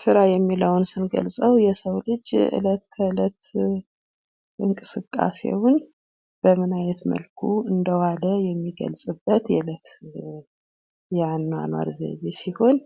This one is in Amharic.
ስራ የሚለውን ስንገልፀው የሰው ልጅ የእለት ከእለት እንቅስቃሴውን ምን አይነት መልኩ እንደ ዋለ የሚገልጽበት የአኗኗር ዘቢይቤ ሲሆን